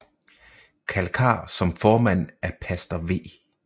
Kalkar som formand af pastor V